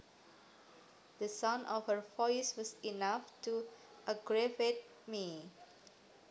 The sound of her voice was enough to aggravate me